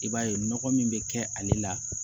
I b'a ye nɔgɔ min bɛ kɛ ale la